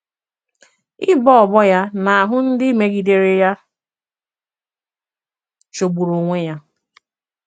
Ịbọ ọbọ ya n’ahụ́ ndị mègidèrè ya jọ̀gbùrù onwè ya.